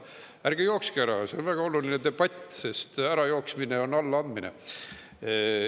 Ärge jookske ära – see on väga oluline debatt –, sest ärajooksmine on allaandmine.